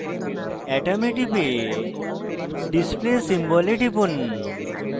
atom এ টিপে display symbol এ টিপুন